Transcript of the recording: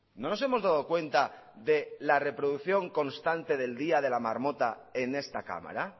no nos hemos dado cuenta de la reproducción constante del día de la marmota en esta cámara